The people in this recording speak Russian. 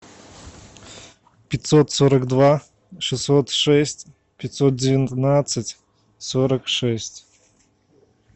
пятьсот сорок два шестьсот шесть пятьсот девятнадцать сорок шесть